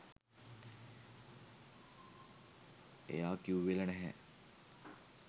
එයා කිව්වෙල නැහැ